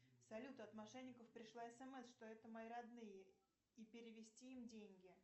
салют от мошенников пришла смс что это мои родные и перевести им деньги